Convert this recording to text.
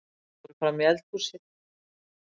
Þau fóru frammí eldhúsið.